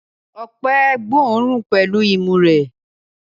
Ọpẹ́ gbóòórùn pẹ̀lú imú rẹ̀.